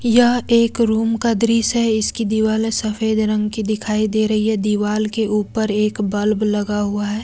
यह एक रूम का दृश्य है इसकी दिवाले सफेद रंग की दिखाई दे रही है दीवाल के ऊपर एक बल्ब लगा हुआ है।